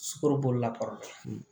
Sukaro bolila kɔrɔ